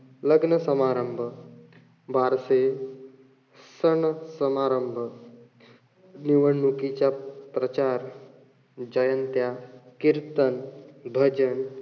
लग्न समारंभ, बारसे, सण-समारंभ, निवडणुकीच्या प्रचार, जयंत्या, कीर्तन, भजन,